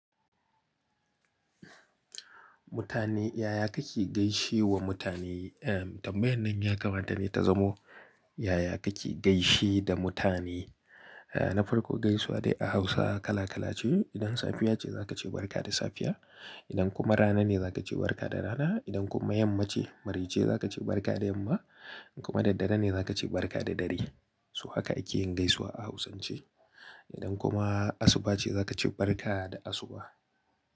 Mutane, yaya kake gaishe wa mutane? Tambayan nan ya kamata ne ta zamo yaya kake gaishe da mutane? Na farko gaisuwa dai a Hausa kala kala ce. Idan safiya ce za ka ce barka da safiya. Idan kuma rana ne za ka ce barka da rana. Idan kuma yamma ce, mari ce za ka ce barka da yamma. In kuma daddare ne za ka ce barka da dare. Toh haka ake yin gaisuwa a Hausance. Idan kuma asuba ce za ka ce barka da asuba.